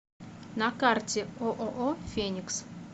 на карте ооо феникс